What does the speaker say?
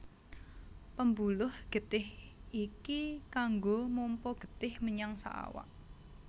Pembuluh getih iki kanggo mompa getih menyang saawak